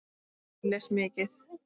Ég les mikið.